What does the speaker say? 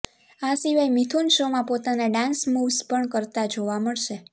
આ સિવાય મિથુન શોમાં પોતાના ડાન્સ મૂવ્સ પણ કરતા જોવા મળશે